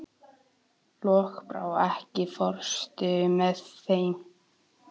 Lokbrá, ekki fórstu með þeim?